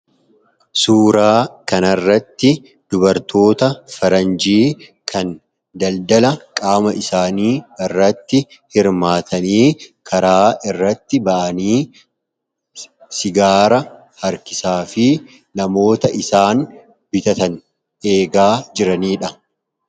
Suuraa kanaa gadii irratti kan argamu dubartoota faranjii kan daldala qaama isaanii irratti hirmaatanii fi sigaaraa harkisanii namoota isaan bitatan kan eegaa jiranii dha.